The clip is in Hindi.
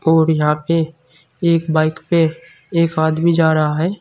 और यहां पे एक बाइक पे एक आदमी जा रहा है।